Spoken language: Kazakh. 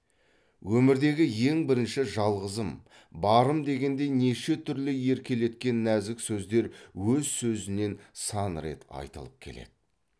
өмірдегі ең бірінші жалғызым барым дегендей неше түрлі еркелеткен нәзік сөздер өз өзінен сан рет айтылып келеді